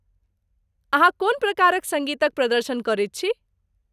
अहाँ कोन प्रकारक सङ्गीतक प्रदर्शन करैत छी?